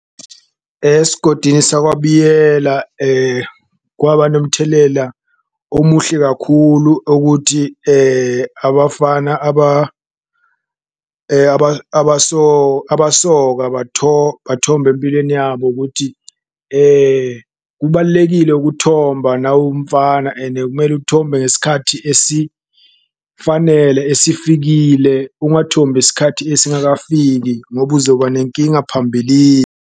Esigodini sakwaBiyela kwaba nomthelela omuhle kakhulu ukuthi abafana abasoka, bathomba empilweni yabo ukuthi kubalulekile ukuthomba nawumfana ene kumele uthombe ngesikhathi esifanele esifikile. Ungathombi esikhathi esingakafiki ngoba uzoba nenkinga .